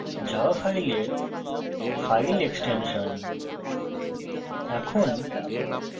dot java হল java file file extension